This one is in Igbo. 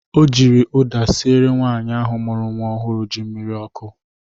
O jiri ụda sịere nwaanyị ahụ mụrụ nnwa ọhụrụ ji mmiri ọkụ